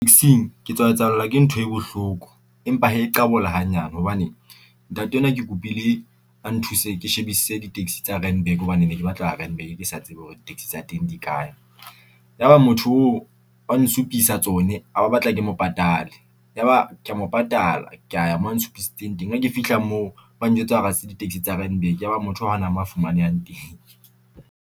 Ke tswa etsahallwa ke ntho e bohloko empa hee qabola hanyane hobane. Ntate enwa ke kopile a nthuse ke shebisise di-taxi tsa Randburg hobane ne ke batla ho ya Randburg ke sa tsebe hore di-taxi tsa teng di kae. Ya ba motho oo a nsupisa tsone a ba batla ke mo patale, ya ba kea mo patalla kea moo a nsupiisitseng teng. Ha ke fihla moo ba njwetsa hore ha se di-taxi tsa Randburg, ya ba motho oo hana mo fumanehang teng.